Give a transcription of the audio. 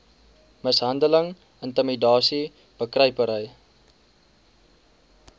mishandeling intimidasie bekruipery